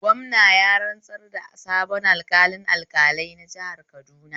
Gwamna ya rantsar da sabon alƙalin alƙalai na jihar Kaduna